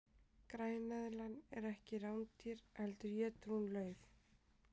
græneðlan er ekki rándýr heldur étur hún lauf